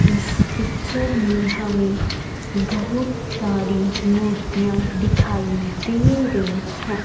इस पिक्चर में हमें बहुत सारी मूर्तियां दिखाई दे रही हैं।